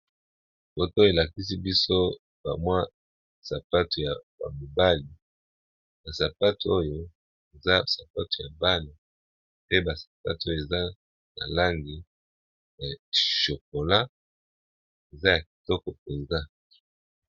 Foto elakisi biso bamwa sapato ya bamobali basapate oyo eza sapato ya bale pe basapate oyo eza na langi ya chokola eza ya kitoko mpenza.